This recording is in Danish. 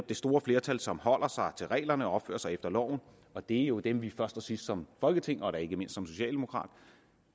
det store flertal som holder sig til reglerne og opfører sig efter loven og det er jo dem vi først og sidst som folketing og da ikke mindst som socialdemokrater